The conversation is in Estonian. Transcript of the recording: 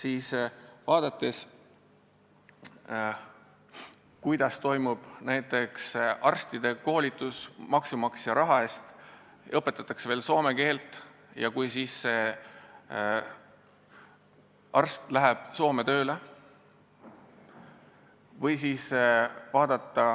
Aga vaadakem, kuidas toimub näiteks arstide koolitus maksumaksja raha eest: neile õpetatakse veel soome keelt ja noored arstid lähevad Soome tööle.